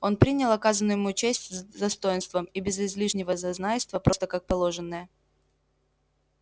он принял оказанную ему честь с достоинством и без излишнего зазнайства просто как положенное